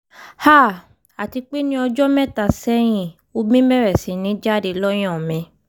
háà àti pé ní ọjọ́ mẹ́ta sẹ́yìn omi bẹ̀rẹ̀ sí ní jáde lọ́yàn mi